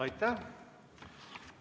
Aitäh!